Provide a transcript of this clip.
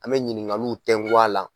An mɛ ɲininkaliw tɛngu a la.